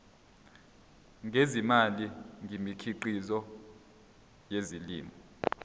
ngezimali ngemikhiqizo yezolimo